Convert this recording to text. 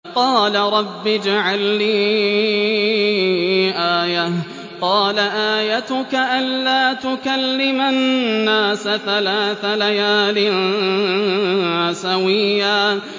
قَالَ رَبِّ اجْعَل لِّي آيَةً ۚ قَالَ آيَتُكَ أَلَّا تُكَلِّمَ النَّاسَ ثَلَاثَ لَيَالٍ سَوِيًّا